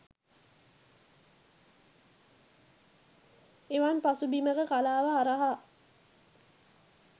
එවන් පසුබිමක කලාව හරහා